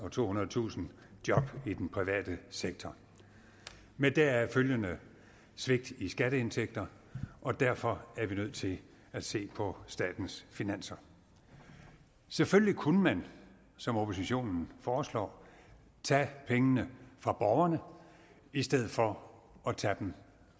og tohundredetusind job i den private sektor med deraf følgende svigt i skatteindtægter og derfor er vi nødt til at se på statens finanser selvfølgelig kunne man som oppositionen foreslår tage pengene fra borgerne i stedet for at tage dem